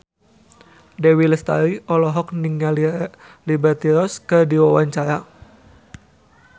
Dewi Lestari olohok ningali Liberty Ross keur diwawancara